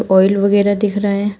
Oil वगैरह दिख रहा है।